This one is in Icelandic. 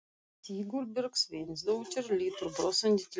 Sigurbjörg Sveinsdóttir lítur brosandi til hans.